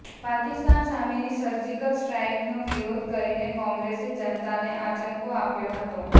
પાકિસ્તાન સામેની સર્જિકલ સ્ટ્રાઇકનો વિરોધ કરીને કોંગ્રેસે જનતાને આંચકો આપ્યો હતો